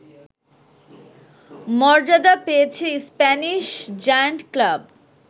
মর্যাদা পেয়েছে Spanish giant club